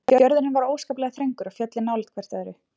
Fjörðurinn var óskaplega þröngur og fjöllin nálægt hvert öðru.